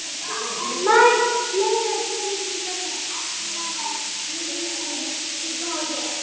Margt fleira gerist í þessari efnaverksmiðju sem virkt kvikuhólf er.